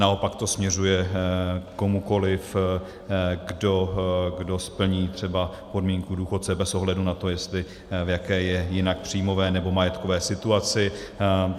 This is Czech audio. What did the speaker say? Naopak to směřuje komukoli, kdo splní třeba podmínky důchodce bez ohledu na to, v jaké je jinak příjmové nebo majetkové situaci.